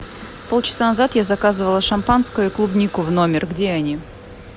пол часа назад я заказывала шампанское и клубнику в номер где они